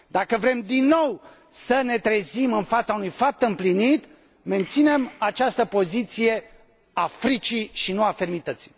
Dacă vrem din nou să ne trezim în fața unui fapt împlinit, menținem această poziție a fricii și nu a fermității.